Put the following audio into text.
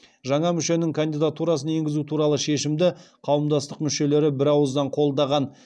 жаңа мүшенің кандидатурасын енгізу туралы шешімді қауымдастық мүшелері бірауыздан қолдаған